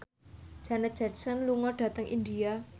Janet Jackson lunga dhateng India